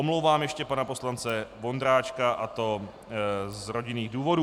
Omlouvám ještě pana poslance Vondráčka, a to z rodinných důvodů.